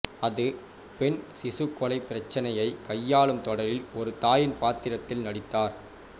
அது பெண் சிசுக்கொலை பிரச்சினையை கையாளும் தொடரில் ஒரு தாயின் பாத்திரத்தில் நடித்தார்